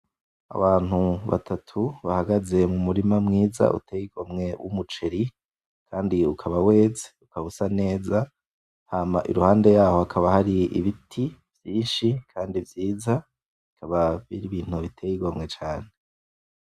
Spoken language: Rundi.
Abantu batatu bahagaze mumurima mwiza uteye igomwe w'umuceri kandi ukaba weze, ukaba usa neza, hama iruhande yaho hakaba hari ibiti vyinshi kandi vyiza, bikaba biri ibintu biteye igomwe cane.